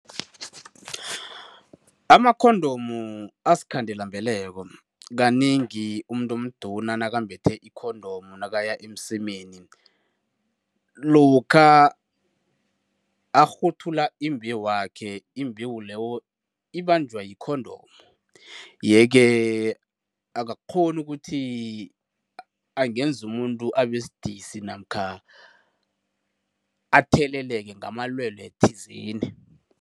Ama-condom asikhandelambeleko. Kanengi umuntu omduna nakambethe i-condom nakaya emsemeni, lokha arhuthula imbewu yakhe, imbewu leyo ibanjwa yi-condom, yeke akakghoni ukuthi angenza umuntu abesidisi namkha atheleleke ngamalwelwe thizeni.